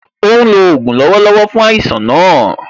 Ó ń lò ògùn lọ́wọ́lọ́wọ́ fún àìsàn náà